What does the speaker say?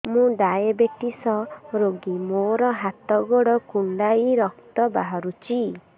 ମୁ ଡାଏବେଟିସ ରୋଗୀ ମୋର ହାତ ଗୋଡ଼ କୁଣ୍ଡାଇ ରକ୍ତ ବାହାରୁଚି